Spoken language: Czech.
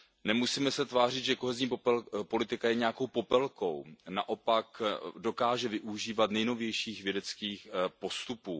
Nemusíme se tvářit, že kohezní politika je nějakou Popelkou, naopak dokáže využívat nejnovějších vědeckých postupů.